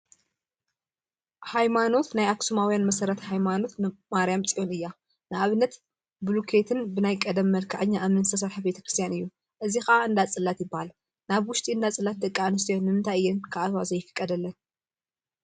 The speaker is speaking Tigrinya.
ሃይማኖት ናይ አክሱማውያን መሰረት ሃይማኖት ማርያም ፅዮን እያ፡፡ ንአብነት ብቡሉኬትን ብናይ ቀደም መልክዐኛ እምኒን ዝተሰርሐ ቤተ ክርስትያን እዩ፡፡ እዚ ከዓ እንዳ ፅላት ይበሃል፡፡ ናብ ውሽጢ እንዳ ፅላት ደቂ አንስትዮ ንምንታይ እየን ክአትዋ ዘይፍቀደለን?